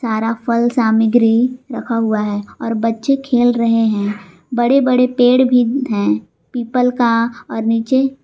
सारा फल सामग्री रखा हुआ है और बच्चे खेल रहे हैं बड़े बड़े पेड़ भी है पीपल का और नीचे--